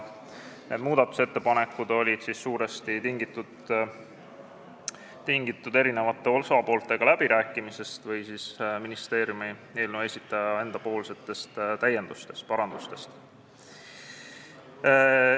Need muudatusettepanekud olid suuresti tingitud eri osapooltega läbirääkimisest või ministeeriumi ehk eelnõu esitaja enda täiendustest ja parandustest.